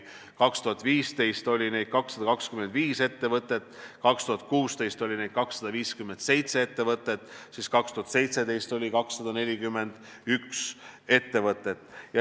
2015. aastal oli 225 sellist ettevõtet, 2016. aastal oli 257 sellist ettevõtet ja 2017. aastal oli 241 sellist ettevõtet.